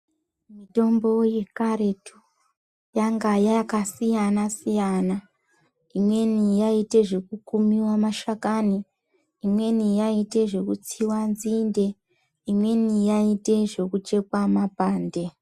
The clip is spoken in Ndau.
Mitombo yekaretu yanga yakasiyana siyana imweni yaite zvekukumiwa mashakani imweni yaite zvekutsiwa nzinde imweni yaite zvekuchekwa mapande .